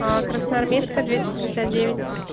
аа красноармейская двести шестьдесят девять